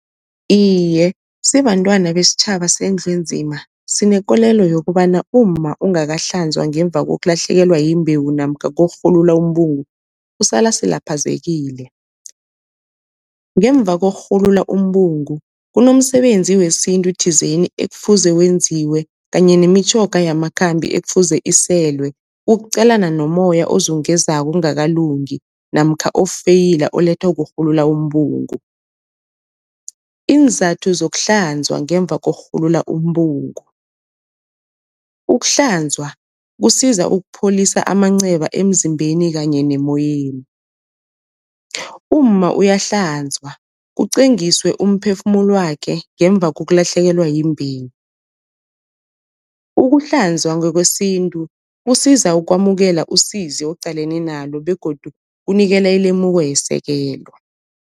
Iye, sibantwana besitjhaba sendlu enzima sinekolelo yokobana, umma ongakahlanzwa ngemva kokulahlekelwa yimbewu namkha kokurhulula umbungu usala asilaphazekile. Ngemva kokurhulula umbungu kunomsebenzi wesintu thizeni ekufuze wenziwe kanye nemitjhoga yamakhambi ekufuze iselwe, ukuqalana nomoya ozungezako kungakalungi namkha ofeyila olethwa kurhulula umbungu. Iinzathu zokuhlanzwa ngemva kokurhulula umbungu, ukuhlanzwa kusiza ukupholisa amanceba emzimbeni kanye nemoyeni, umma uyahlanzwa kucwengiswe umphefumulo wakhe ngemva kokulahlekelwa yimbewu, ukuhlanzwa ngekwesintu kusiza ukwamukela isizi oqalene nalo begodu kunikela ilemuko yesekelo.